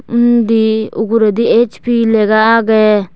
undi uguraydi HP lega aagey.